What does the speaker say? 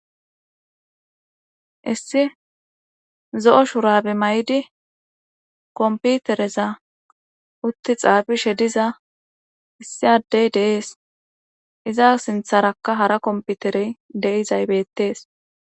issi zo7o shurabe may7di komputereza utti xaafishe diza issi addey deees iza sintharakka hara komputerey de7izaybettees